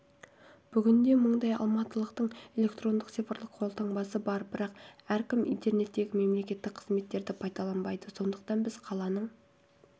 бүгінде мыңдай алматылықтың электрондық цифрлық қолтаңбасы бар бірақ әркім интернеттегі мемлекеттік қызметтерді пайдаланбайды сондықтан біз қаланың